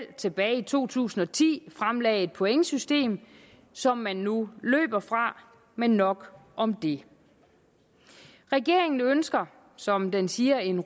tilbage i to tusind og ti fremlagde et pointsystem som man nu løber fra men nok om det regeringen ønsker som den siger en